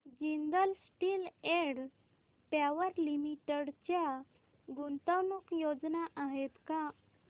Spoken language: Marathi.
Jindal steel and power limited च्या गुंतवणूक योजना आहेत का